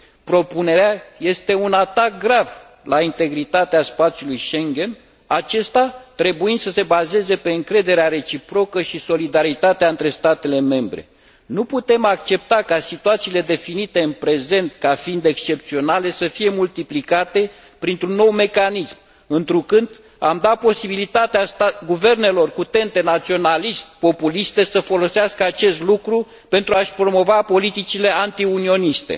Propunerea este un atac grav la integritatea spațiului Schengen, acesta trebuind să se bazeze pe încrederea reciprocă și solidaritatea între statele membre. Nu putem accepta ca situațiile definite în prezent ca fiind excepționale să fie multiplicate printr un nou mecanism, întrucât am da posibilitatea guvernelor cu tente naționalist populiste să folosească acest lucru pentru a și promova politicele antiunioniste.